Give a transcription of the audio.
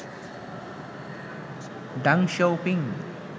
ডাং শিয়াও পিং